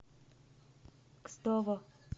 кстово